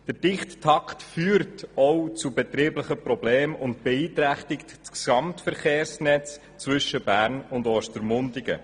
Der dichte Takt führt auch zu betrieblichen Problemen und beeinträchtigt das Gesamtverkehrsnetz zwischen Bern und Ostermundigen.